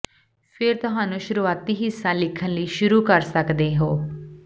ਫਿਰ ਤੁਹਾਨੂੰ ਸ਼ੁਰੂਆਤੀ ਹਿੱਸਾ ਲਿਖਣ ਲਈ ਸ਼ੁਰੂ ਕਰ ਸਕਦੇ ਹੋ